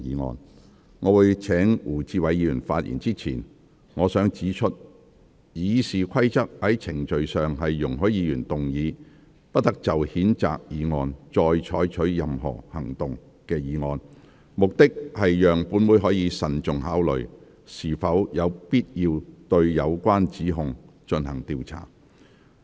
在我請胡志偉議員發言之前，我想指出，《議事規則》在程序上容許議員動議"不得就譴責議案再採取任何行動"的議案，目的是讓本會可慎重考慮是否有必要對有關指控進行調查。